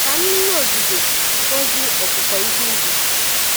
Ka mmiri ozuzo gọzie ọkụkụ ihe ubi.